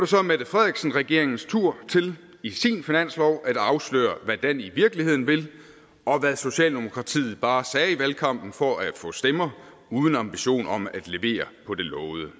så mette frederiksen regeringens tur til i sin finanslov at afsløre hvad den i virkeligheden vil og hvad socialdemokratiet bare sagde i valgkampen for at få stemmer uden ambition om at levere på det lovede